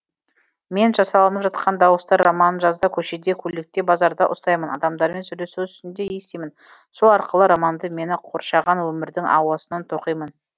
мен жасалынып жатқан дауыстар романын жазда көшеде көлікте базарда ұстаймын адамдармен сөйлесу үстінде естимін сол арқылы романды мені қоршаған өмірдің ауасынан тоқимын